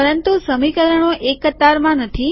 પરંતુ સમીકરણો એક કતારમાં નથી